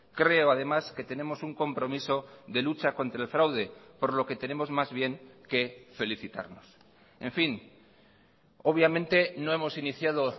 creo además que tenemos un compromiso de lucha contra el fraude por lo que tenemos más bien que felicitarnos en fin obviamente no hemos iniciado